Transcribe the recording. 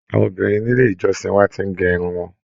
Àwọn obìnrin nílé ìjọsìn wà tí n gé irun wọn.